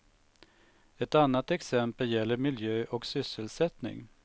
Ett annat exempel gäller miljö och sysselsättning.